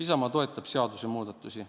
Isamaa toetab seadusemuudatusi.